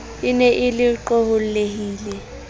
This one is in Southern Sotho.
e ne e le qohollehile